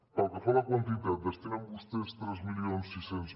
pel que fa a la quantitat destinen vostès tres mil sis cents